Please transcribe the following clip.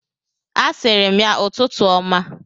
A sịrị m ya ụtụtụ ọma.